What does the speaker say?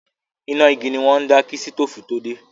Iná igi ni wọ́n ń dá kí sítóòfù tó dé.